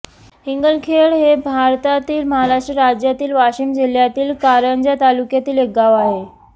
इंगळखेड हे भारतातील महाराष्ट्र राज्यातील वाशिम जिल्ह्यातील कारंजा तालुक्यातील एक गाव आहे